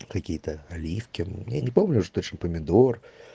какие-то оливки я не помню уже точно помидор